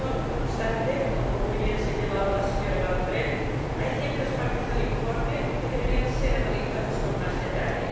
No obstante, como muy bien señalaba la señora Van Brempt, hay ciertas partes del informe que deberían ser analizadas con más detalle.